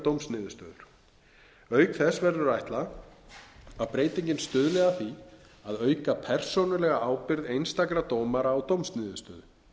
dómsniðurstöður auk þess verður að ætla að breytingin stuðli að því að auka persónulega ábyrgð einstakra dómara á dómsniðurstöðu